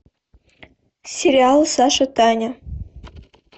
сериал саша таня